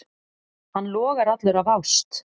Hann logar allur af ást.